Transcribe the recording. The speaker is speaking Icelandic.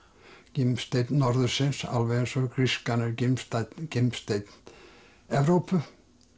gimsteinn norðursins alveg eins og grískan er gimsteinn gimsteinn Evrópu